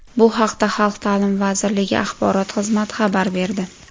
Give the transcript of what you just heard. Bu haqda Xalq ta’limi vazirligi axborot xizmati xabar berdi.